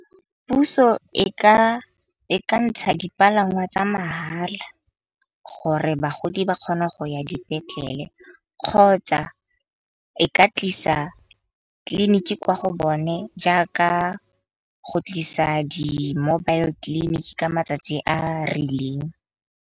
Puso e ka ntsha dipalangwa tsa mahala, gore bagodi ba kgona go ya dipetlele. Kgotsa e ka tlisa tleliniki kwa go bone jaaka go tlisa di-mobile-tleliniki ka matsatsi a rileng.